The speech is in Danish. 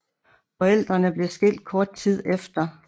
Forældrene blev skilt kort tid efter